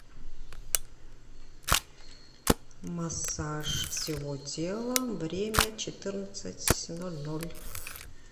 массаж всего тела время четырнадцать ноль ноль